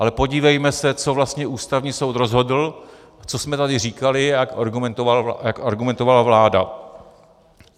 Ale podívejme se, co vlastně Ústavní soud rozhodl, co jsme tady říkali a jak argumentovala vláda.